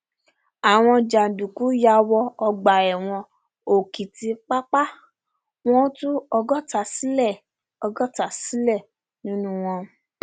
àwọn jàǹdùkú yà wọ ọgbà ẹwọn òkìtìpápá wọn tún ọgọta sílẹ ọgọta sílẹ nínú wọn